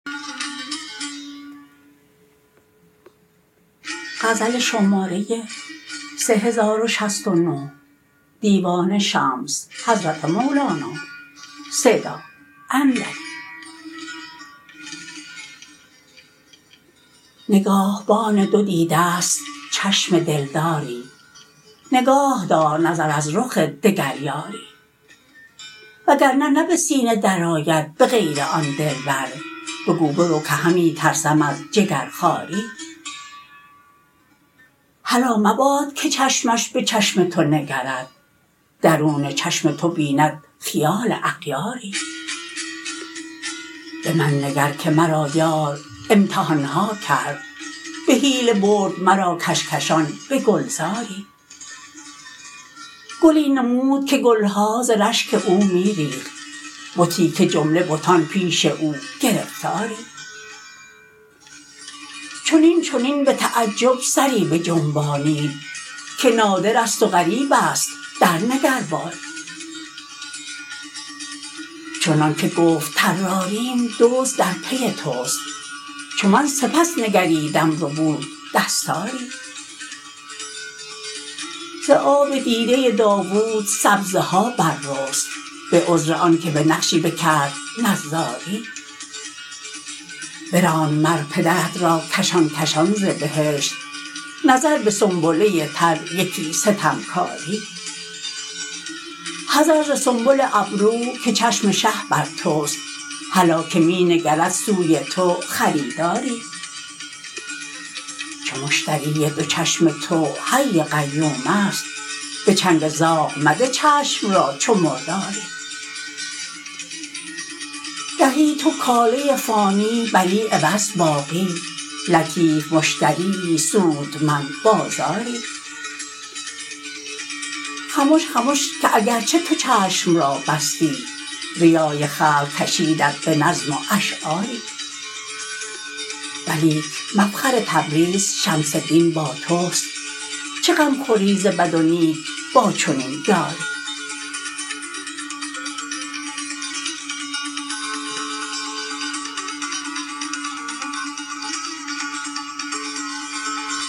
نگاهبان دو دیده ست چشم دلداری نگاه دار نظر از رخ دگر یاری وگر به سینه درآید به غیر آن دلبر بگو برو که همی ترسم از جگرخواری هلا مباد که چشمش به چشم تو نگرد درون چشم تو بیند خیال اغیاری به من نگر که مرا یار امتحان ها کرد به حیله برد مرا کشکشان به گلزاری گلی نمود که گل ها ز رشک او می ریخت بتی که جمله بتان پیش او گرفتاری چنین چنین به تعجب سری بجنبانید که نادرست و غریبست درنگر باری چنانک گفت طراریم دزد در پی توست چو من سپس نگریدم ربود دستاری ز آب دیده داوود سبزه ها بررست به عذر آنک به نقشی بکرد نظاری براند مر پدرت را کشان کشان ز بهشت نظر به سنبله تر یکی ستمکاری حذر ز سنبل ابرو که چشم شه بر توست هلا که می نگرد سوی تو خریداری چو مشتری دو چشم تو حی قیومست به چنگ زاغ مده چشم را چو مرداری دهی تو کاله فانی بری عوض باقی لطیف مشتریی سودمند بازاری خمش خمش که اگر چه تو چشم را بستی ریای خلق کشیدت به نظم و اشعاری ولیک مفخر تبریز شمس دین با توست چه غم خوری ز بد و نیک با چنین یاری